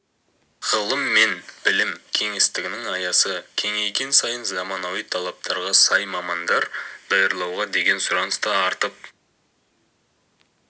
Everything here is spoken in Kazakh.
ғылым мен білім кеңістігінің аясы кеңейген сайын заманауи талаптарға сай мамандар даярлауға деген сұраныс та артып